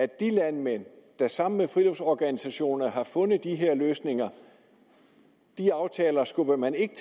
de landmænd der sammen med friluftsorganisationerne har fundet de her løsninger skubber man ikke